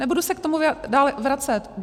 Nebudu se k tomu dál vracet.